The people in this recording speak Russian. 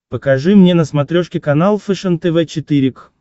покажи мне на смотрешке канал фэшен тв четыре к